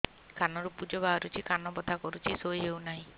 କାନ ରୁ ପୂଜ ବାହାରୁଛି କାନ ବଥା କରୁଛି ଶୋଇ ହେଉନାହିଁ